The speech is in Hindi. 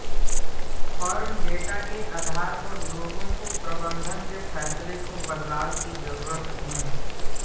फर्म डेटा के आधार पर लोगों को प्रबंधन के फैसले को बदलाव की जरूरत क्यों